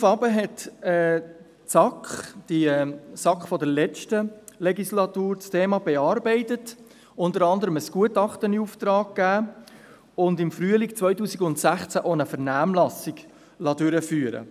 Daraufhin bearbeitete die SAK – jene der letzten Legislatur – das Thema und gab unter anderem ein Gutachten in Auftrag und liess im Frühling 2018 auch eine Vernehmlassung durchführen.